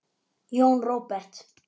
Jón Róbert.